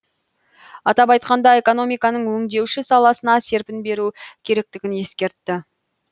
атап айтқанда экономиканың өңдеуші саласына серпін беру керектігін ескертті